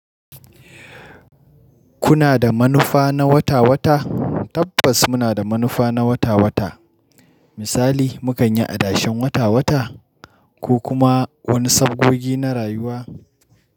Kuna da manufa na wata-wata? Tabbas muna da manufa na wata-wata. Misali, mu kan yi adashen wata-wata ko kuma wani sabgogi na rayuwa.